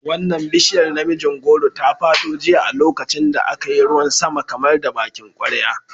Wannan bishiyar namijin goro ta fado jiya a lokacin da aka yi ruwan sama kamar da bakin kwarya.